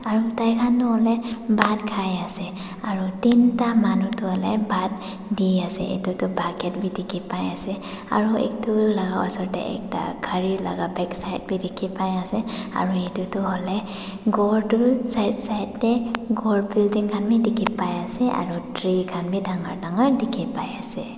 tai khan tu hoilae bhat khai ase aro teenta manu tu hoilae bhat diase edu tu bucket bi dikhipaiase aro edu laka osor tae ekta gari laka backside bi dikhipaiase aru edu tu hoilae ghor tu side side tae ghor building khan bi dikhipaiase aro tree khan bi dangor dangor dikhipaiase.